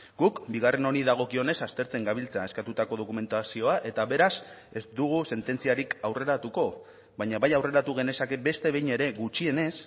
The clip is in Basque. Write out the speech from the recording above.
guk bigarren honi dagokionez aztertzen gabiltza eskatutako dokumentazioa eta beraz ez dugu sententziarik aurreratuko baina bai aurreratu genezake beste behin ere gutxienez